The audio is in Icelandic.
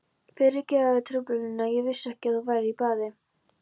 Fyrirgefðu truflunina, ég vissi ekki að þú værir í baði.